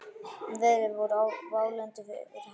Veður voru válynd fyrir helgi.